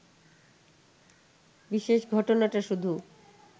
বিশেষ ঘটনাটা শুধু